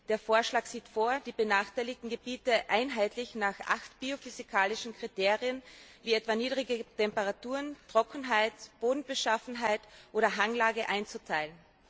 Der Vorschlag sieht vor, die benachteiligten Gebiete einheitlich nach acht biophysikalischen Kriterien, wie etwa niedrige Temperaturen, Trockenheit, Bodenbeschaffenheit oder Hanglage einzuteilen.